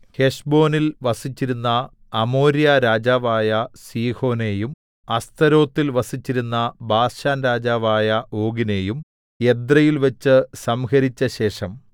ഹെശ്ബോനിൽ വസിച്ചിരുന്ന അമോര്യ രാജാവായ സീഹോനെയും അസ്തരോത്തിൽ വസിച്ചിരുന്ന ബാശാൻരാജാവായ ഓഗിനെയും എദ്രെയിൽ വച്ച് സംഹരിച്ചശേഷം